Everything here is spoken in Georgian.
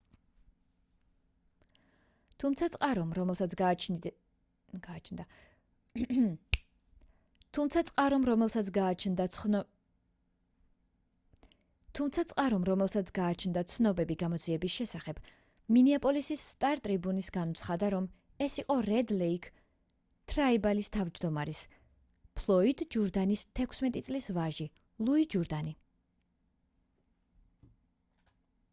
თუმცა წყარომ რომელსაც გააჩნდა ცნობები გამოძიების შესახებ მინეაპოლისის სტარ ტრიბიუნს განუცხადა რომ ეს იყო რედ ლეიქ თრაიბალის თავმჯდომარის ფლოიდ ჯურდანის 16 წლის ვაჟი ლუი ჯურდანი